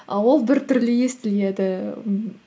і ол біртүрлі естіледі ммм